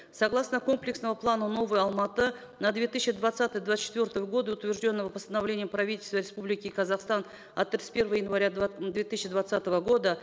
согласно комплексного плана новый алматы на две тысячи двадцатый двадцать четвертые годы утвержденного постановлением правительства республики казахстан от тридцать первого января две тысячи двадцатого года